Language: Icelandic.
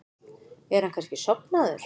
Er hann kannski sofnaður?